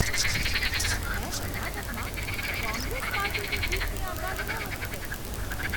મેં કર્ણાટકમાં કોંગ્રેસ પાર્ટીની જીતની આગાહી નહોતી કરી.